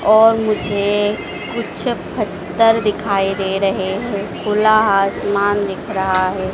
और मुझे कुछ फत्तर दिखाई दे रहे हैं खुला हासमान दिख रहा है।